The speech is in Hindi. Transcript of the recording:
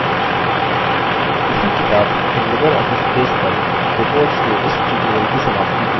इसी के साथ हम libreoffice base पर reports के इस tutorial की समाप्ति की ओर आ गये हैं